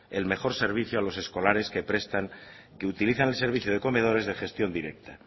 el mejor servicio a los escolares que utilizan el servicio de comedores de gestión directa